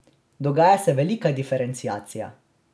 Dogaja se velika diferenciacija.